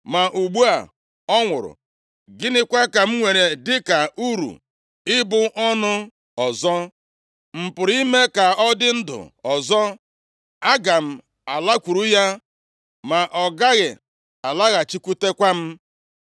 Ma ugbu a ọ nwụrụ, gịnịkwa ka m nwere dịka uru ibu ọnụ ọzọ? M pụrụ ime ka ọ dị ndụ ọzọ? Aga m alakwuru ya, ma ọ gaghị alaghachikwutekwa m.”